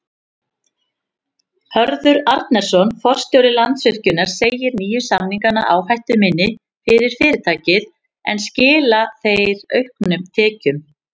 Hörður Arnarson, forstjóri Landsvirkjunar segir nýju samningana áhættuminni fyrir fyrirtækið en skila þeir auknum tekjum?